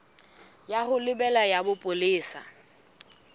ya ho lebela ya bopolesa